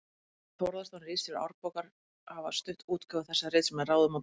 Þórðarson, ritstjóri Árbókar, hafa stutt útgáfu þessa rits með ráðum og dáð.